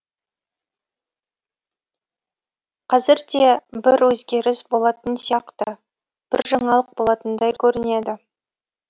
қазірде бір өзгеріс болатын сияқты бір жаңалық болатындай көрінеді